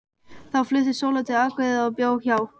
Þá flutti Sóla til Akureyrar og bjó hjá